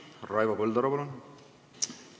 Raivo Põldaru, palun!